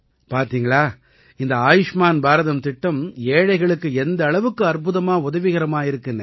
பார்த்தீங்களா இந்த ஆயுஷ்மான் பாரதம் திட்டம் ஏழைகளுக்கு எந்த அளவுக்கு அற்புதமா உதவிகரமா இருக்குன்னு